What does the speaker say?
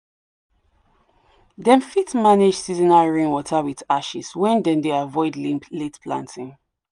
them fit manage seasonal rainwater with ashes when them dey avoid late planting.